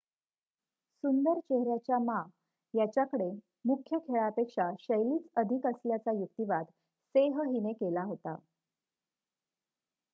सुंदर चेहऱ्याच्या मा याच्याकडे मुख्य खेळापेक्षा शैलीच अधिक असल्याचा युक्तिवाद सेह हिने केला होता